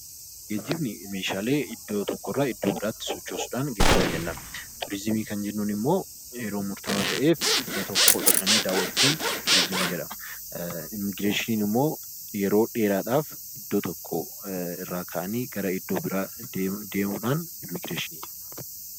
Geejjibni meeshaalee iddoo tokkorraa iddoo biraatti sochoosuudhaan geejjiba jennaan. Turizimii kan jennuun ammoo yeroo murtaawaa ta'eef, iddoo tokko dhaqanii daawwachuun turizimii jedhama. Immigireeshiniin immoo yeroo dheeraadhaaf iddoo tokko irraa ka'anii gara iddoo biraa deemuudhaan Immigireeshinii jenna.